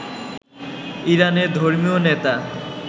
ইরানের ধর্মীয় নেতা